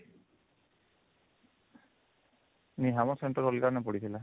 ନାଇଁ ଆମ centre ଅଲଗା ନ ପଡିଥିଲା